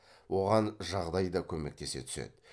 оған жағдай да көмектесе түседі